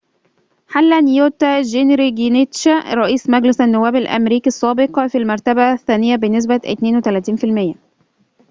حل نيوت جينجريتش رئيس مجلس النواب الأمريكي السابق في المرتبة الثانية بنسبة 32%